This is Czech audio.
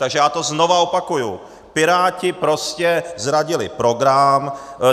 Takže já to znovu opakuji, Piráti prostě zradili program.